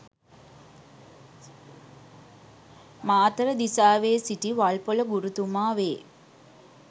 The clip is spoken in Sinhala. මාතර දිසාවේ සිටි වල්පොල ගුරුතුමා වේ.